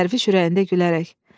Dərviş ürəyində gülərək: